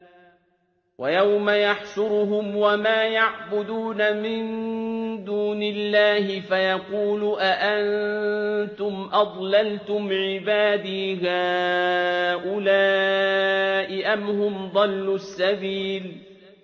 وَيَوْمَ يَحْشُرُهُمْ وَمَا يَعْبُدُونَ مِن دُونِ اللَّهِ فَيَقُولُ أَأَنتُمْ أَضْلَلْتُمْ عِبَادِي هَٰؤُلَاءِ أَمْ هُمْ ضَلُّوا السَّبِيلَ